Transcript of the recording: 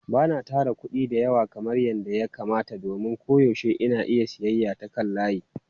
Ba na tara kuɗi da yawa kamar yadda ya kamata domin koyaushe ina siyayya ta kan layi.